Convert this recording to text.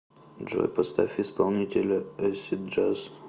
джой поставь исполнителя эйсид джаз